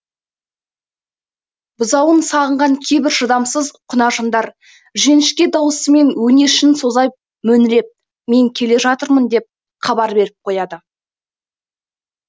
бұзауын сағынған кейбір шыдамсыз құнажындар жіңішке дауысымен өңешін соза мөңіреп мен келе жатырмын деп хабар беріп қояды